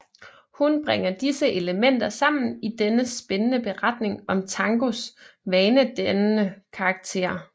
Hun bringer disse elementer sammen i denne spændende beretning om tangos vanedannende karakter